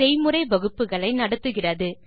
செய்முறை வகுப்புகளை நடத்துகிறது